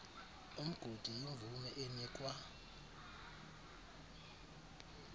umgodi yimvume enikwa